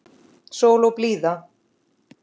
Sól og blíða.